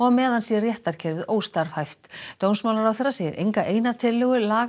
meðan sé réttarkerfi óstarfhæft dómsmálaráðherra segir enga eina tillögu laga